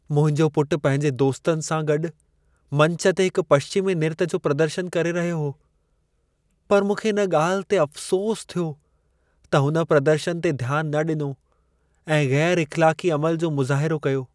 मुंहिंजो पुटु पंहिंजे दोस्तनि सां गॾु मंच ते हिक पश्चिमी निर्तु जो प्रदर्शनु करे रहियो हो। पर मूंखे इन ॻाल्हि ते अफ़सोस थियो त हुन प्रदर्शन ते ध्यानु न डि॒नो ऐं गै़रु इख़्लाक़ी अमलु जो मुज़ाहिरो कयो।